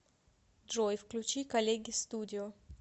джой включи коллеги студио